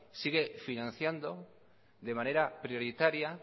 sigue financiando de manera prioritaria